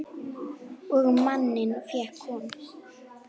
Og manninn fékk hún.